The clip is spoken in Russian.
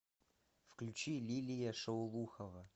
включи лилия шаулухова